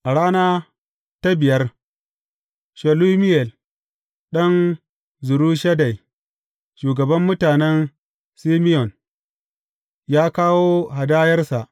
A rana ta biyar, Shelumiyel ɗan Zurishaddai, shugaban mutanen Simeyon, ya kawo hadayarsa.